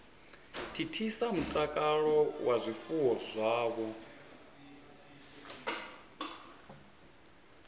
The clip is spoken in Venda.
thithisa mutakalo wa zwifuwo zwavho